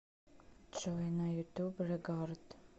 джой на ютуб регард